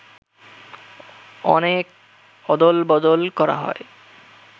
অনেক অদলবদল করা হয়